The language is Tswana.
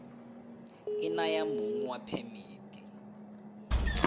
e naya mong wa phemiti